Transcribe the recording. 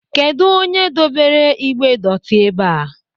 Kedu onye dobere igbe dotii ebea?